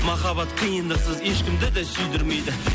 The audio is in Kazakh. махаббат қыиндықсыз ешкімді де сүйдірмейді